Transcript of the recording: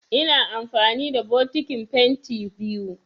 Ina amfani da bokitin fenti biyu